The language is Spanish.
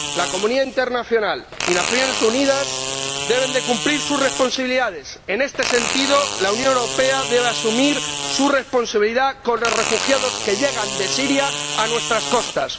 La comunidad internacional y las Naciones Unidas deben cumplir sus responsabilidades. En este sentido, la Unión Europea debe asumir su responsabilidad con los refugiados que llegan de Siria a nuestras costas.